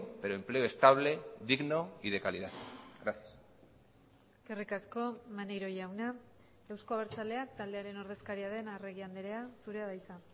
pero empleo estable digno y de calidad gracias eskerrik asko maneiro jauna euzko abertzaleak taldearen ordezkaria den arregi andrea zurea da hitza